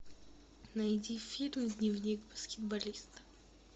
найди фильм дневник баскетболиста